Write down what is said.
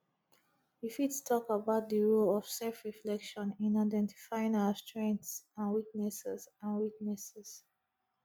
you fit talk about di role of selfreflection in identifying our strengths and weaknesses and weaknesses